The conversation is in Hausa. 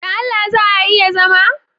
Don Allah za a iya zama?